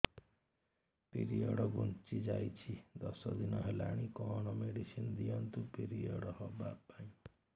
period ଘୁଞ୍ଚି ଯାଇଛି ଦଶ ଦିନ ହେଲାଣି କଅଣ ମେଡିସିନ ଦିଅନ୍ତୁ ପିରିଅଡ଼ ହଵା ପାଈଁ